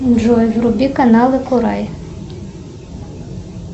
джой вруби канал акурай